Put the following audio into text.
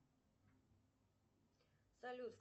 салют